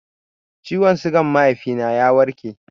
Ciwon sugan mahaifi na ya warke